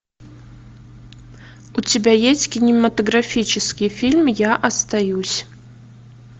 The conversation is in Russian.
у тебя есть кинематографический фильм я остаюсь